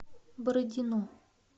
бородино